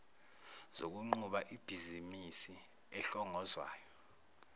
zokunquba ibhizimisi ehlongozwayo